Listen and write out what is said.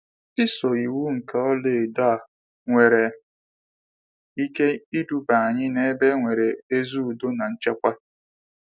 isoo iwu nke ọlaedo a nwere ike iduba anyị n'ebe enwere ezi Udo na nchekwa.